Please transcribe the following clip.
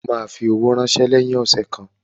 O ma fi owó ránsẹ́ lẹ́yìn ọ̀sẹ̀ kan